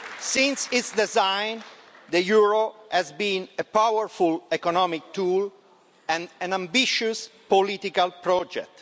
Since its design, the euro has been a powerful economic tool and an ambitious political project.